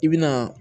I bi na